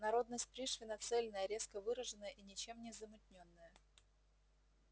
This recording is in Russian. народность пришвина цельная резко выраженная и ничем не замутнённая